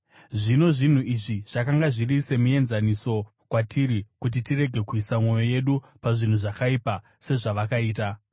Zvino, zvinhu izvi zvakanga zviri semienzaniso kwatiri, kuti tirege kuisa mwoyo yedu pazvinhu zvakaipa sezvavakaita.